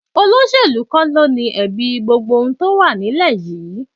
Olóṣèlú kọ́ ló ni ẹ̀bi gbogbo tó wà nílẹ̀ yìí